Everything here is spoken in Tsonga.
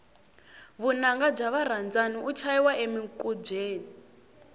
vunanga bya varandzani u chayiwa emikubyeni